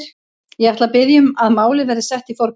Ég ætla að biðja um að málið verði sett í forgang.